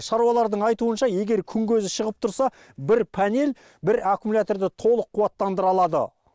шаруалардың айтуынша егер күн көзі шығып тұрса бір панель бір аккумуляторды толық қуаттандыра алады